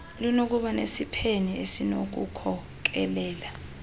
lunokuba nesiphene esinokukhokelela